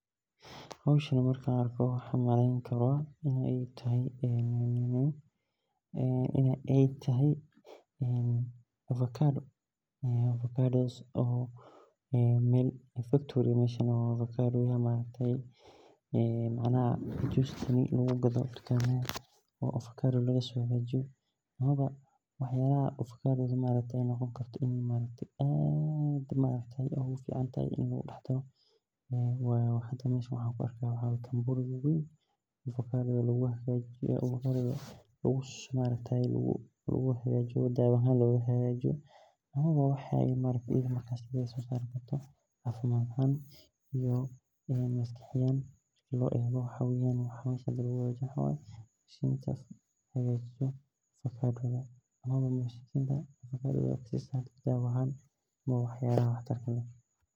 Hoshan marka an arko maxaa u maleyni kara in ee taho avocado amawa mesha factory ga ee macnaha melaha tukamaada lagu gado waxyala aad u fican ini lacabo in aa dawa ahan loga hagajiyo waa waye waxyalaha tinta hagajiyo waxyala aad umadoweyo tinta waxyalaha ayan ku atki haya.